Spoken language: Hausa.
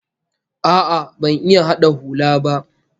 A'a, ban iya hada hula ba